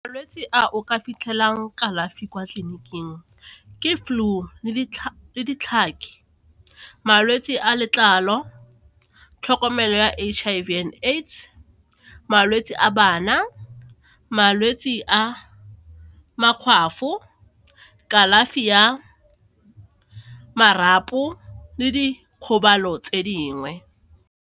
Malwetse a o ka fitlhelang kalafi kwa tleliniking ke flu le ditlhabi, malwetse a letlalo, tlhokomelo ya H_I_V and AIDS, malwetse a bana, malwetse a makgwafo, kalafi ya marapo le dikgobalo tse dingwe.